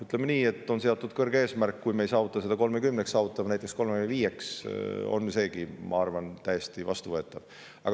Ütleme nii, et on seatud kõrge eesmärk, aga kui me ei saavuta seda aastaks 2030, saavutame näiteks aastaks 2035, on seegi minu arvates täiesti vastuvõetav.